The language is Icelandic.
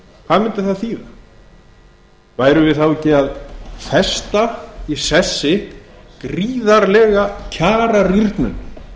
það þýða værum við þá ekki að festa í sessi gríðarlega kjararýrnun